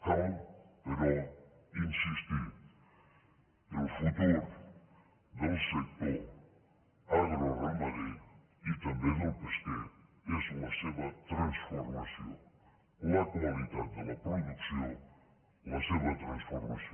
cal però insistir el futur del sector agroramader i també el pesquer és la seva transformació la qualitat de la producció la seva transformació